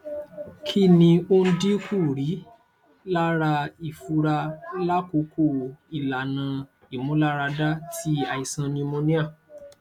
kini o n dinkuri lara ifunra lakoko ilana imularada ti aisan pneumonia